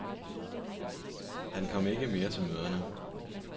Han kom ikke mere til møderne.